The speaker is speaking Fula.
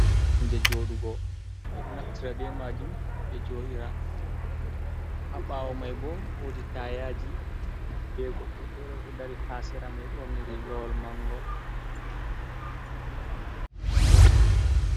Koromje jooɗugo, ɓe ɗo naftira be maajum ɓe jooɗira, haa ɓaawo may bo, woodi tayaaji, be goɗɗo feere ɗo dari, haa sera may, ɓorni riigawol manngol.